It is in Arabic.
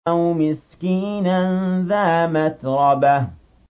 أَوْ مِسْكِينًا ذَا مَتْرَبَةٍ